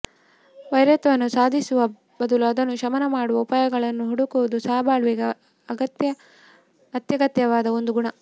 ವೈರತ್ವವನ್ನು ಸಾಧಿಸುವ ಬದಲು ಅದನ್ನು ಶಮನ ಮಾಡುವ ಉಪಾಯಗಳನ್ನು ಹುಡುಕುವುದು ಸಹಬಾಳ್ವೆಗೆ ಅತ್ಯಗತ್ಯವಾದ ಒಂದು ಗುಣ